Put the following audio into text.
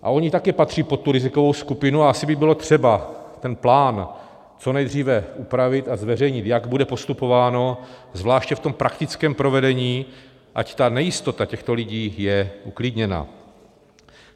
A oni také patří pod tu rizikovou skupinu a asi by bylo třeba ten plán co nejdříve upravit a zveřejnit, jak bude postupováno, zvláště v tom praktickém provedení, ať ta nejistota těchto lidí je uklidněna.